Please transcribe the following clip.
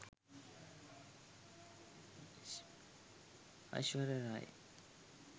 aishwarya rai